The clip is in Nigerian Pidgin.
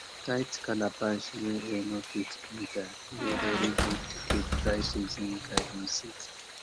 tight calabash wey air no fit enter dey very good to keep dry season garden seed